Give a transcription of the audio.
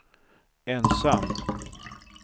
ensam